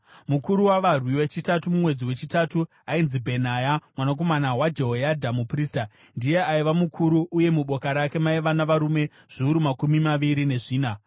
Mukuru wavarwi wechitatu mumwedzi wechitatu ainzi Bhenaya mwanakomana waJehoyadha muprista. Ndiye aiva mukuru uye muboka rake maiva navarume zviuru makumi maviri nezvina.